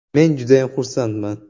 Men judayam xursandman.